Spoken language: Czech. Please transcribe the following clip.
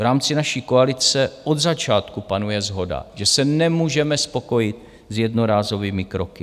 V rámci naší koalice od začátku panuje shoda, že se nemůžeme spokojit s jednorázovými kroky.